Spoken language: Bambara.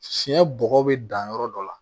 Fiɲɛ bɔgɔ bɛ dan yɔrɔ dɔ la